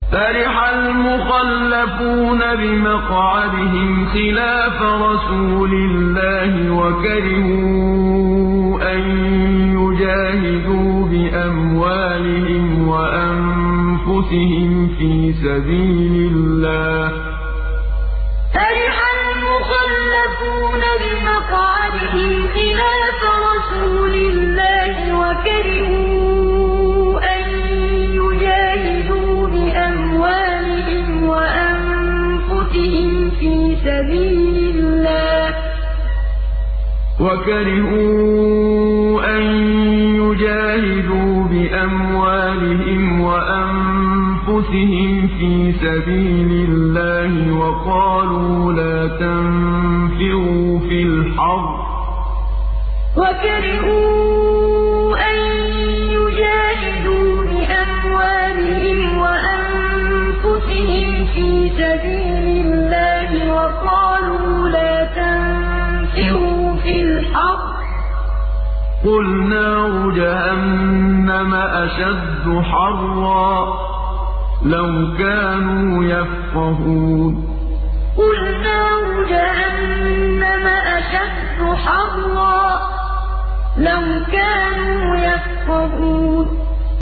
فَرِحَ الْمُخَلَّفُونَ بِمَقْعَدِهِمْ خِلَافَ رَسُولِ اللَّهِ وَكَرِهُوا أَن يُجَاهِدُوا بِأَمْوَالِهِمْ وَأَنفُسِهِمْ فِي سَبِيلِ اللَّهِ وَقَالُوا لَا تَنفِرُوا فِي الْحَرِّ ۗ قُلْ نَارُ جَهَنَّمَ أَشَدُّ حَرًّا ۚ لَّوْ كَانُوا يَفْقَهُونَ فَرِحَ الْمُخَلَّفُونَ بِمَقْعَدِهِمْ خِلَافَ رَسُولِ اللَّهِ وَكَرِهُوا أَن يُجَاهِدُوا بِأَمْوَالِهِمْ وَأَنفُسِهِمْ فِي سَبِيلِ اللَّهِ وَقَالُوا لَا تَنفِرُوا فِي الْحَرِّ ۗ قُلْ نَارُ جَهَنَّمَ أَشَدُّ حَرًّا ۚ لَّوْ كَانُوا يَفْقَهُونَ